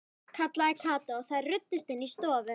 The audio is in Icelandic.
kallaði Kata og þær ruddust inn í stofu.